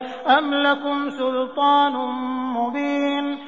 أَمْ لَكُمْ سُلْطَانٌ مُّبِينٌ